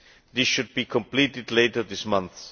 This should be completed later this month.